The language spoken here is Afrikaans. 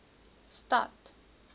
stad